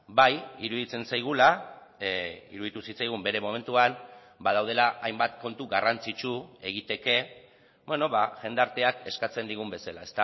bai iruditzen zaigula iruditu zitzaigun bere momentuan badaudela hainbat kontu garrantzitsu egiteke jendarteak eskatzen digun bezala